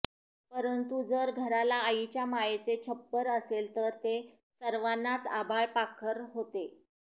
परंतु जर घराला आईच्या मायेचे छप्पर असेल तर ते सर्वानाच आभाळ पाखर होते